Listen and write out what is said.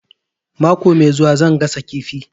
Mako mai zuwa zan gasa kifi